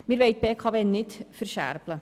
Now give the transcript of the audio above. Wir wollen die BKW nicht verscherbeln.